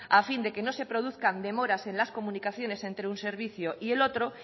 a fin de que no se produzcan demoras en las comunicaciones entre un servicio y el otro